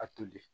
A toli